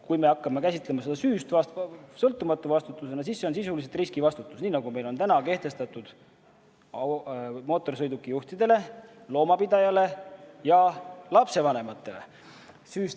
Kui me hakkame seda käsitlema süüst sõltumatu vastutusena, siis see on sisuliselt riskivastutus, nii nagu meil on kehtestatud mootorsõidukijuhtidele, loomapidajatele ja lapsevanematele.